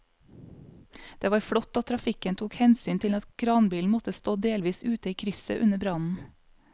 Det var flott at trafikken tok hensyn til at kranbilen måtte stå delvis ute i krysset under brannen.